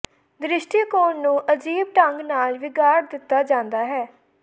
ਦ੍ਰਿਸ਼ਟੀਕੋਣ ਨੂੰ ਅਜੀਬ ਢੰਗ ਨਾਲ ਵਿਗਾੜ ਦਿੱਤਾ ਜਾਂਦਾ ਹੈ